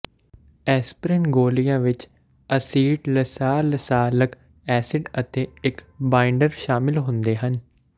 aspirin ਗੋਲੀਆਂ ਵਿੱਚ acetylsalicylic acid ਅਤੇ ਇੱਕ ਬਾਈਂਡਰ ਸ਼ਾਮਿਲ ਹੁੰਦੇ ਹਨ